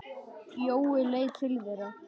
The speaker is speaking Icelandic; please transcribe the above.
Jói leit til þeirra.